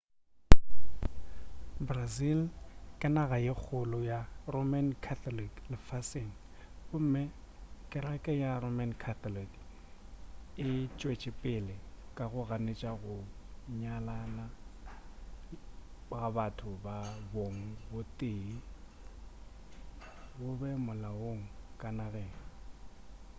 brazil ke naga ye kgolo ya roman catholic lefaseng gomme kereke ya roman catholic e tšwetšepele ka go ganetša gore go nyalana ga batho ba bong bo tee go be molaong ka nageng